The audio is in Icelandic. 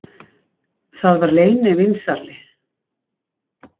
Það var leynivínsali